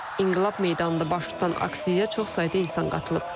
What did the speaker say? İnqilab meydanında baş tutan aksiyaya çox sayda insan qatılıb.